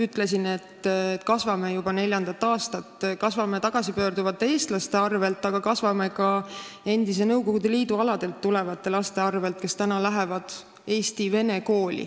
Ütlesin, et me kasvame juba neljandat aastat, aga me kasvame tagasipöörduvate eestlaste arvel, ka endise Nõukogude Liidu aladelt tulevate laste arvel, kes lähevad Eesti vene kooli.